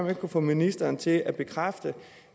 jeg kunne få ministeren til at bekræfte